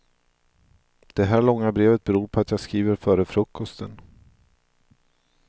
Det här långa brevet beror på att jag skriver före frukosten.